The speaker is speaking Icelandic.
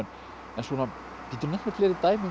en geturðu nefnt mér fleiri dæmi um